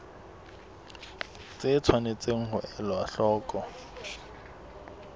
tse tshwanetseng ho elwa hloko